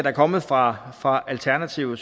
er kommet fra fra alternativet